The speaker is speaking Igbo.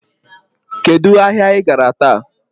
Kedụ ahịa I gara taa?